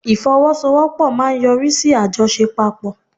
Ifowosowopo maa n yori si ajosepapo